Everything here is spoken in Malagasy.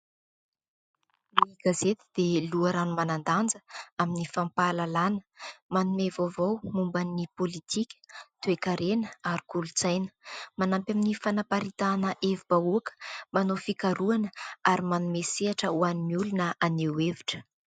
Gazety dia loharano manan-danja amin'ny fampahalalana, manome vaovao momba ny politika, toe-karena ary kolontsaina. Mananampy amin'ny fanamparitahana hevi-bahoaka, manao fikarohana, ary manome sehatra ho an'ny olona haneho hevitra.